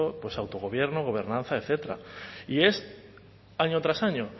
autogobierno gobernanza etcétera y es año tras año